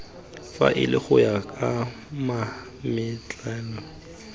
faele go ya ka mametlelelo